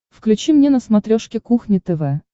включи мне на смотрешке кухня тв